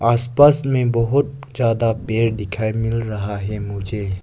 आस पास में बहोत ज्यादा पेड़ दिखाई मिल रहा है मुझे।